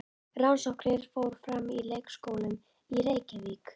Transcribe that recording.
Rannsóknin fór fram í leikskólum í Reykjavík.